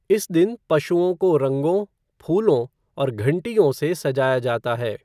इस दिन पशुओं को रंगों, फूलों और घंटियों से सजाया जाता है।